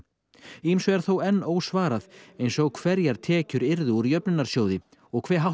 ýmsu er þó enn ósvarað eins og hverjar tekjur yrðu úr jöfnunarsjóði hve hátt